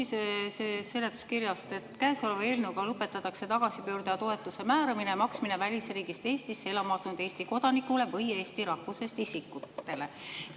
Ma loen seletuskirjast, et käesoleva eelnõuga lõpetatakse tagasipöörduja toetuse määramine ja maksmine välisriigist Eestisse elama asunud Eesti kodanikule või eesti rahvusest isikule.